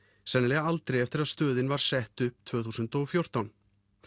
sennilega aldrei eftir að stöðin var sett upp tvö þúsund og fjórtán